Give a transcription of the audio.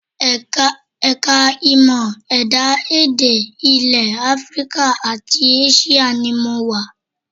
Ẹ̀ka ìmọ̀ ẹ̀dá-èdè ilẹ̀ Africa àti Asia ni mo wà